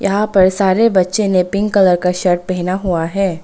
यहां पर सारे बच्चे ने पिंक कलर का शर्ट पहना हुआ है।